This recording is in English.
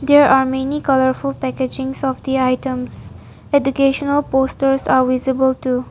There are many colourful packagings of the items educational posters are visible too.